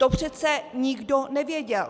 To přece nikdo nevěděl!